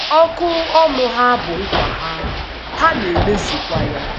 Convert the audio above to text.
Ọ̀kụ̀ ọnụ ha bụ nk̀wà ha, ha na-emezùkwa ya.